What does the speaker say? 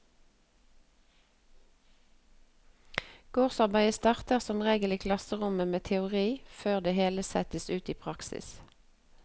Gårdsarbeidet starter som regel i klasserommet med teori før det hele settes ut i praksis.